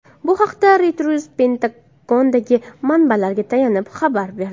Bu haqda Reuters Pentagondagi manbalariga tayanib xabar berdi.